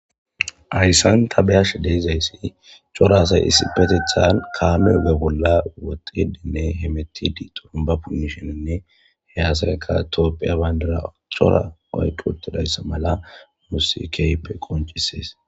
Hayssan tabeyash deizayssi cora say isipetethan kaame hoge bolla woxedinne hemetidi xurumba punnishenanne he asaekka toopphiya bayndara cora oyquotidayssa mala musikeype qoncisees.